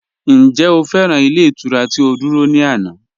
Ǹjẹ́ o fẹ́ran ilẹ̀ iturà ti o dúrọ̀ ni ànà?